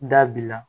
Da b'i la